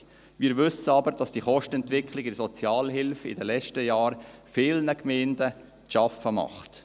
Wir wissen aber, dass die Kostenentwicklung in der Sozialhilfe in den letzten Jahren vielen Gemeinden zu schaffen macht.